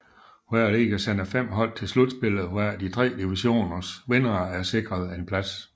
Hver liga sender 5 hold til slutspillet hvoraf de tre divisions vindere er sikret en plads